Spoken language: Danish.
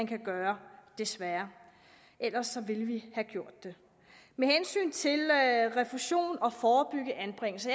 kan gøre desværre ellers ville vi have gjort det med hensyn til refusion og at forebygge anbringelser